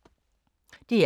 DR K